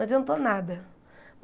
Não adiantou nada.